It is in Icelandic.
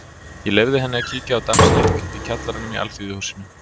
Ég leyfði henni að kíkja á dansleik í kjallaranum í Alþýðuhúsinu.